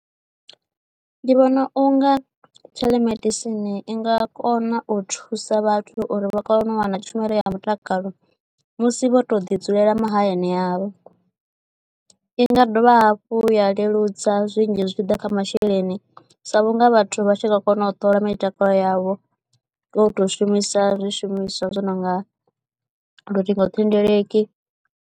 Ndi vhona unga theḽomedisini i nga kona u thusa vhathu uri vha kone u wana tshumelo ya mutakalo musi vho to ḓi dzulela mahayani avho, inga dovha hafhu ya leludza zwinzhi zwi tshiḓa kha masheleni sa vhunga vhathu vha tshi nga kona u ṱola mitakalo yavho ngo to shumisa zwishumiswa zwi no nga luṱingothendeleki.